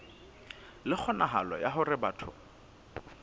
le kgonahalo ya hore batho